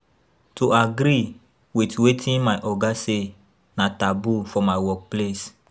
To agree with wetin my oga say na taboo for my workplace